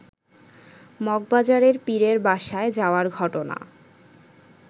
মগবাজারের পীরের বাসায় যাওয়ার ঘটনা